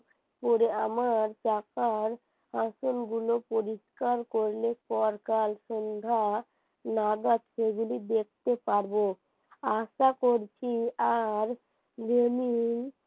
পরে আমার চাকার আসনগুলো পরিষ্কার করলে পরকাল সন্ধ্যা নাগাদ সেগুলি দেখতে পারবো আশা করছি আর যিনি